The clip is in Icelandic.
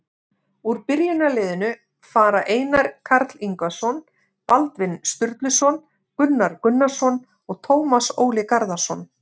Úr byrjunarliðinu fara Einar Karl Ingvarsson, Baldvin Sturluson, Gunnar Gunnarsson og Tómas Óli Garðarsson.